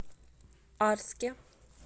арске